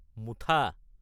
মুঠা